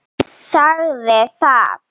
Sagði það.